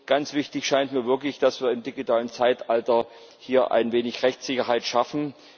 Ganz wichtig scheint mir wirklich, dass wir im digitalen Zeitalter hier ein wenig Rechtssicherheit schaffen.